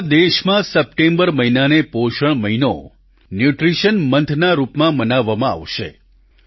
આખા દેશમાં સપ્ટેમ્બર મહિનાને પોષણ મહિનો ન્યૂટ્રીશન મોન્થ ના રૂપમાં મનાવવામાં આવશે